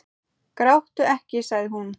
Gráttu ekki, sagði hún.